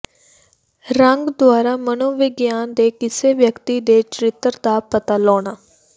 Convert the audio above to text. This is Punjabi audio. ਰੰਗ ਦੁਆਰਾ ਮਨੋਵਿਗਿਆਨ ਦੇ ਕਿਸੇ ਵਿਅਕਤੀ ਦੇ ਚਰਿੱਤਰ ਦਾ ਪਤਾ ਲਾਉਣਾ